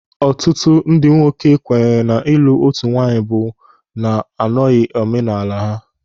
Ọtụtụ ndị nwoke kwenyere na ịlụ otu nwaanyị bụ na anọghị omenaala ha.